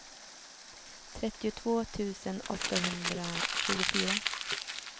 trettiotvå tusen åttahundratjugofyra